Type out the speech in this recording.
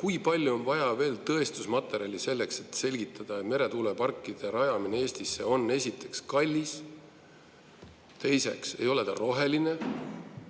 kui palju on vaja veel tõestusmaterjali selleks, et selgitada, et meretuuleparkide rajamine Eestisse on esiteks kallis ja teiseks ei ole see roheline?